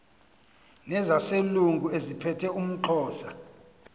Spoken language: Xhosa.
nezaselungu eziphethe umxhosa